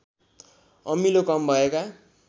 अमिलो कम भएका